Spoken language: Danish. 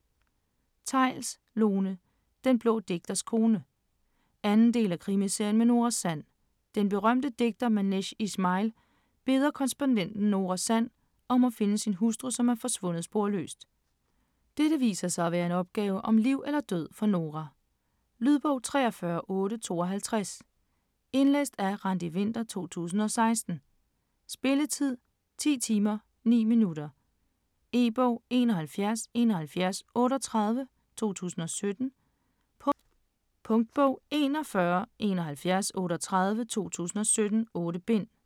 Theils, Lone: Den blå digters kone 2. del af Krimiserien med Nora Sand. Den berømte digter Manash Ishmail beder korrespondenten Nora Sand om at finde sin hustru som er forsvundet sporløst. Dette viser sig at være en opgave om liv eller død for Nora. Lydbog 43852 Indlæst af Randi Winther, 2016. Spilletid: 10 timer, 9 minutter. E-bog: 717138 2017. Punktbog: 417138 2017. 8 bind.